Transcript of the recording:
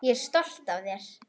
Ég er stolt af þér.